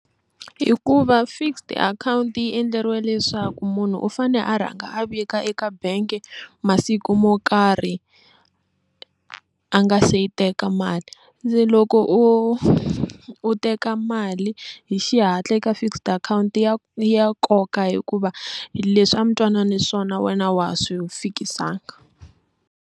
Hikuva fixed akhawunti yi endleriwe leswaku munhu u fane a rhanga a vika eka bank masiku mo karhi a nga se yi teka mali loko u teka mali hi xihatla eka fixed akhawunti ya ya nkoka hikuva leswi a mi twanana hi swona wena wa ha swi fikisanga.